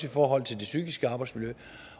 i forhold til det psykiske arbejdsmiljø